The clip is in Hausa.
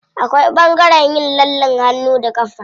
Akwai ɓangaren yin lallen hannu da ƙafa.